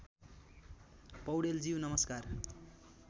पौडेलज्यू नमस्कार